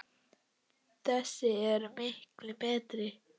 Þessi er miklu betri.